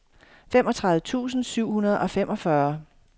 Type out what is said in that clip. femogtredive tusind syv hundrede og femogfyrre